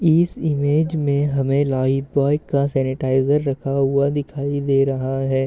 इस इमेज में हमे लाइफबॉय का सेनेटाईज़र रखा हुआ दिखाई दे रहा है।